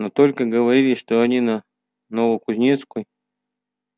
но только говорили что они на новокузнецкой